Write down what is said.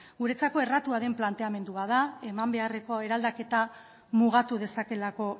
guretzat erratua den planteamendu bat da eman beharreko eraldaketa mugatu dezakeelako